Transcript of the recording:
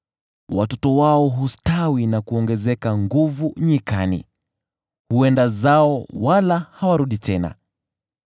Watoto wao hustawi na kuongezeka nguvu nyikani; huenda zao wala hawarudi tena.